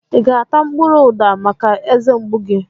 I ga-ata mkpụrụ uda maka eze mgbu gị?